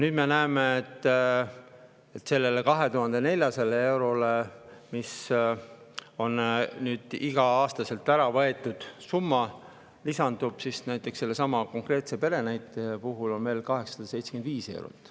Nüüd me näeme, et sellele 2400 eurole, mis on iga-aastaselt ära võetud summa, lisandub sellesama pere näite puhul veel 875 eurot.